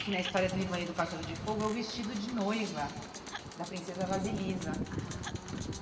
que na história do Ivan e do Pássaro de Fogo, é o vestido de noiva da princesa Vasilisa ah.